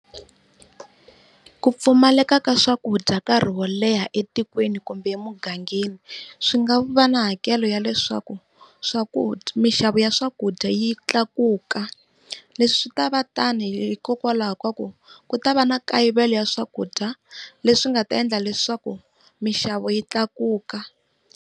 Ku pfumaleka ka swakudya nkarhi wo leha etikweni kumbe emugangeni, swi nga va na hakelo ya leswaku swakudya mixavo ya swakudya yi yi tlakuka. Leswi swi ta va tano hikokwalaho kaku ku ta va na kayivelo wa swakudya leswi nga ta endla leswaku mixavo yi tlakuka.